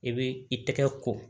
I bɛ i tɛgɛ ko